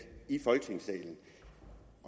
i folketingssalen